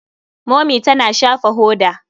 Momi tana shafa hoda.